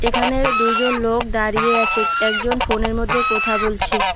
এখানে দুইজন লোক দাঁড়িয়ে আছে একজন ফোনের মধ্যে কোথা বলছে।